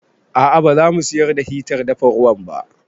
A'a ba za mu siyar da hitar dafa ruwan ba